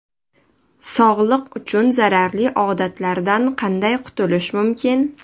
Sog‘liq uchun zararli odatlardan qanday qutulish mumkin?.